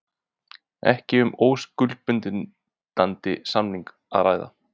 Ekki um óskuldbindandi samning að ræða